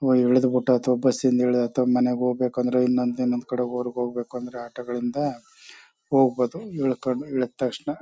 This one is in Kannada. ವೊ ಇಳ್ದ್ಬಿಟ್ಟ ಅಥವಾ ಬಸ್ ಇಂದ ಇಲ್ದಾಯ್ತು ಮನೆಗ್ ಹೋಗ್ಬೇಕು ಅಂದ್ರೆ ಇನ್ನೊಂದ್ ನಮ್ ಕಡೆ ಹೊರ್ಗ್ ಹೋಗ್ಬೇಕಂದ್ರೆ ಆಟೋಗಳಿಂದ ಹೋಗಬೋದು ಇಳ್ಕೊಂಡು ಇಳ್ದ್ ತಕ್ಷಣ.